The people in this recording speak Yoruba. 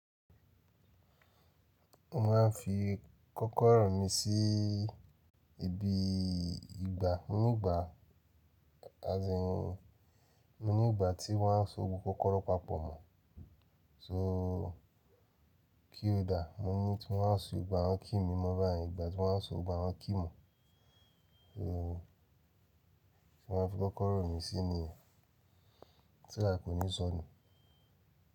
Mo máa ń fi kọ́kọ́rọ́ mi sí ibi ìgbà nígbà, às in nígbà tí wọ́n á so gbogbo kọ́rọ́ papọ̀ mọ́. So keyholder. Mo ní tí mo máa ń so gbogbo, àwọ́n key mi mọ̀ báyìí. Ìgbà tí mo wá ń so gbogbo àwọ́n key mọ̀. So tí mo máa ń fi kọ́kọ́rọ́ mi sí nìyẹn. So that kò ní sọnù.